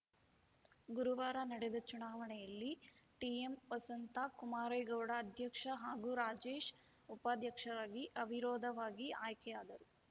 ಗುರುವಾರ ನಡೆದ ಚುನಾವಣೆಯಲ್ಲಿ ಟಿಎಂ ವಸಂತಾ ಕುಮಾರೇಗೌಡ ಅಧ್ಯಕ್ಷ ಹಾಗೂ ರಾಜೇಶ್‌ ಉಪಾಧ್ಯಕ್ಷರಾಗಿ ಅವಿರೋಧವಾಗಿ ಆಯ್ಕೆಯಾದರು